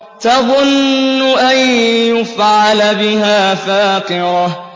تَظُنُّ أَن يُفْعَلَ بِهَا فَاقِرَةٌ